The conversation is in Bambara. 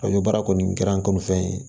N ɲo baara kɔni kɛra n kɔni fɛn fɛn ye